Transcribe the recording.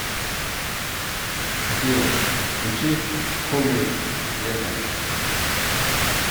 афина включи хоуми лето